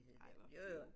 Ej hvor fint